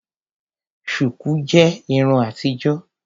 Shuku jẹ Irun àtijọ́.